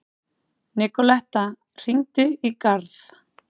Nikoletta, hringdu í Garð.